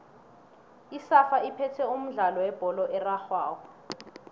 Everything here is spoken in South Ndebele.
isafa iphethe umdlalo webholo erarhwako